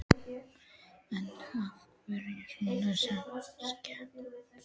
En af hverju svona samkeppni?